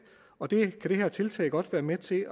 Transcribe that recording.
og det kan det her tiltag godt være med til